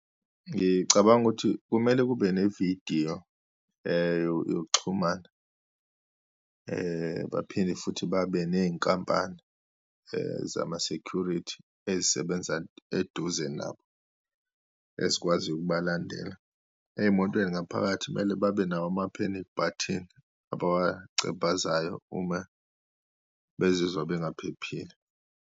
Ngicabanga ukuthi kumele kube nevidiyo yokuxhumana, baphinde futhi babe neyinkampani zama-security ezisebenza eduze nabo, ezikwaziyo ukubalandela, eyimotweni ngaphakathi kumele babe nawo ama-panic button abawachevazayo uma bezizwa bengaphephile.